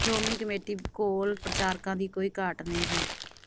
Shiromani committee ਕੋਲ ਪ੍ਰਚਾਰਕਾਂ ਦੀ ਕੋਈ ਘਾਟ ਨਹੀਂ ਹੈ